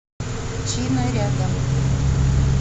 чина рядом